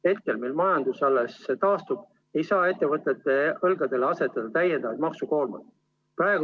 Praegu, kui majandus alles taastub, ei saa ettevõtjate õlgadele asetada täiendavat maksukoormat.